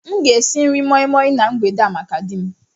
M ga-esi nri moi Moi na mgbede a maka di m